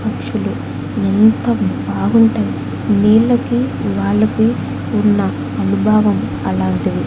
పక్షులు ఎంత బాగుంటాయ్ నీళ్ళకి వాళ్ళకి ఉన్న అనుభావం అలాంటిది.